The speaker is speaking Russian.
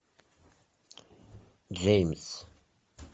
джеймс